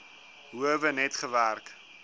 howe net gewerk